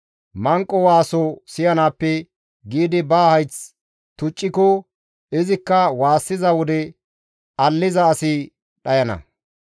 Manqo waaso siyanaappe giidi ba hayth tucciko izikka waassiza wode alliza asi dhayana.